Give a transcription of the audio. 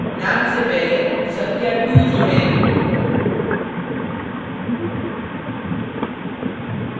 name से पहले संख्या 2 जोड़ें